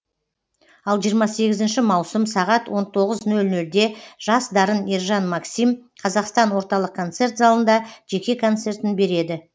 ал жиырма сегізінші маусым сағат он тоғыз нөл нөлде жас дарын ержан максим қазақстан орталық концерт залында жеке концертін береді